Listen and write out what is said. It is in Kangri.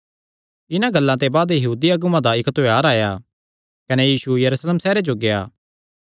इन्हां गल्लां ते बाद यहूदी अगुआं दा इक्क त्योहार आया कने यीशु यरूशलेम सैहरे जो गेआ